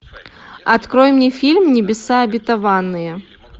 открой мне фильм небеса обетованные